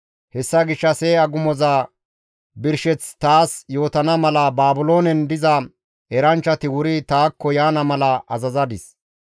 Hessa gishshas he agumoza birsheth taas yootana mala Baabiloonen diza eranchchati wuri taakko yaana mala azazadis.